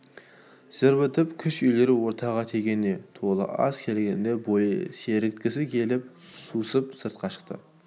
жыр бітіп кеш үйіріле ортаға тегене толы ас келгенде бой сергіткісі келіп сусып сыртқа шықты